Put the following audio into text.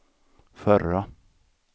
förra